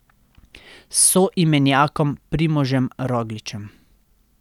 S soimenjakom Primožem Rogličem.